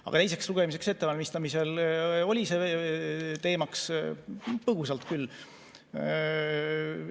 Aga teiseks lugemiseks ettevalmistamisel oli see teemaks põgusalt küll.